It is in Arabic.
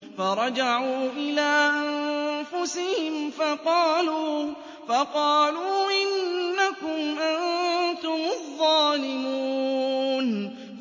فَرَجَعُوا إِلَىٰ أَنفُسِهِمْ فَقَالُوا إِنَّكُمْ أَنتُمُ الظَّالِمُونَ